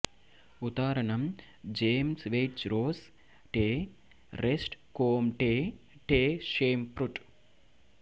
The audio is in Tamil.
உதாரணம் ஜேம்ஸ் வெயிட்ச் ரோஸ் டே ரெஷ்ட் கோம்டே டே ஷேம்புர்ட்